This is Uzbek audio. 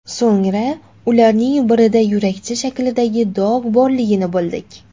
So‘ngra ularning birida yurakcha shaklidagi dog‘ borligini bildik.